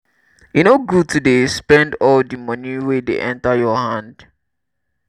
e no good to dey spend all di moni wey dey enta your hand.